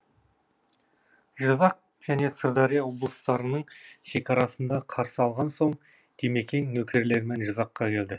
жызақ және сырдария облыстарының шекарасында қарсы алынған соң димекең нөкерлерімен жызаққа келді